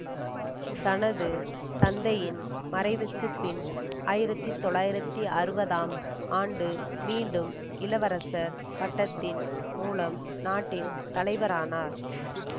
தனது தந்தையின் மறைவுக்குபின் ஆயிரத்தி தொள்ளாயிரத்தி அறுபதாம் ஆண்டு மீண்டும் இளவரசர் பட்டத்தின் மூலம் நாட்டின் தலைவரானார்